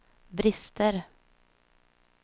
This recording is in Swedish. brister